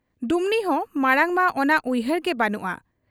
ᱰᱩᱢᱱᱤᱦᱚᱸ ᱢᱟᱬᱟᱝ ᱢᱟ ᱚᱱᱟ ᱩᱭᱦᱟᱹᱨ ᱜᱮ ᱵᱟᱹᱱᱩᱜ ᱟ ᱾